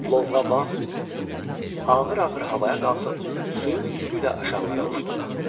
Lovğabağ ağır-ağır havaya qalxıb suyun üstü ilə aşağılara uçdu.